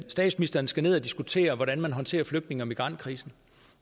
statsministeren skal ned og diskutere hvordan man håndterer flygtninge og migrantkrisen